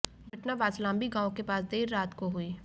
घटना बांसलांबी गांव के पास देर रात को हुई